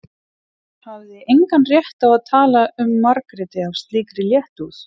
Hann hafði engan rétt á að tala um Margréti af slíkri léttúð.